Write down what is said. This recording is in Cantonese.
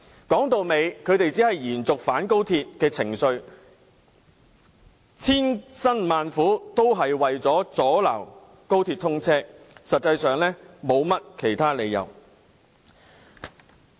歸根究底，他們只想延續反高鐵情緒，千辛萬苦也只是為了阻撓高鐵通車，實質理由欠奉。